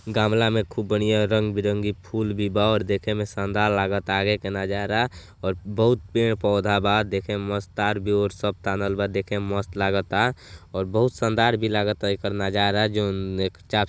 गमला में खूब बढ़िया रंग बिरंगी फूल भी बा और देखे में शानदार लगता आगे के नजारा और बहुत पेड़ पौधा बा देखे में मस्त तार भी ओर तानल बा देखे में मस्त लागता और बहुत शानदार भी लागता एकर नजारा जौन एक चाप --